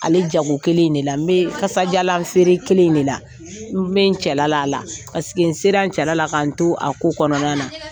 Ale jago kelen in de la n bɛ kasajalanw feere kelen in de la n bɛ n cɛla la a la n sera cɛla la ka n to a ko kɔnɔna na